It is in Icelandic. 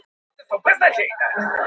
Bankinn er örugglega með myndavélar